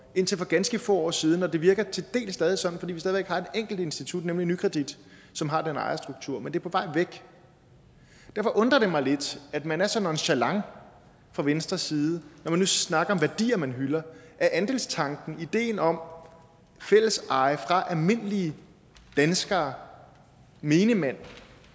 indtil for ganske få år siden og det virker til dels stadig sådan fordi vi stadig væk har et enkelt institut nemlig nykredit som har den ejerstruktur men det er på vej væk derfor undrer det mig lidt at man er så nonchalant fra venstres side når man nu snakker om værdier man hylder er andelstanken ideen om fælleseje for almindelige danskere menigmand